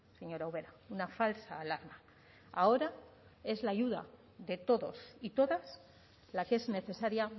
señora ubera una falsa alarma ahora es la ayuda de todos y todas la que es necesaria